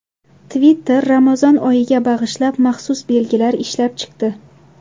Twitter Ramazon oyiga bag‘ishlab maxsus belgilar ishlab chiqdi.